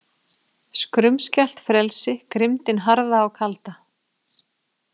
Skrumskælt frelsi, grimmdin harða og kalda.